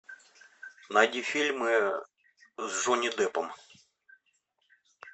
найди фильмы с джонни деппом